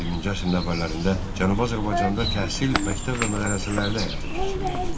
20-ci əsrin əvvəllərində Cənubi Azərbaycanda təhsil məktəb və mədrəsələrdə həyata keçirilirdi.